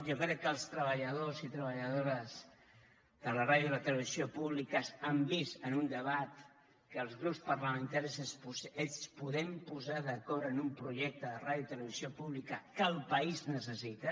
jo crec que els treballadors i treballadores de la ràdio i la televisió públiques han vist en un debat que els grups parlamentaris ens podem posar d’acord en un projecte de ràdio i televisió pública que el país necessita